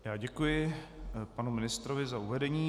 Já děkuji panu ministrovi za uvedení.